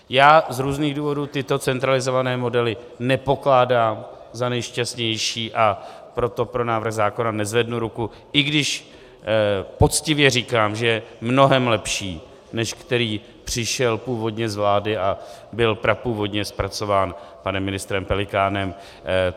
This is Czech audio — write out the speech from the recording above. Já z různých důvodů tyto centralizované modely nepokládám za nejšťastnější, a proto pro návrh zákona nezvednu ruku, i když poctivě říkám, že je mnohem lepší, než který přišel původně z vlády a byl prapůvodně zpracován panem ministrem Pelikánem.